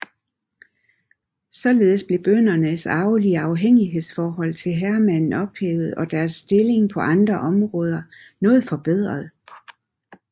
Således blev bøndernes arvelige afhængighedsforhold af herremanden ophævet og deres stilling på andre områder noget forbedret